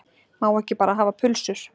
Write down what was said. Má ekki bara hafa pulsur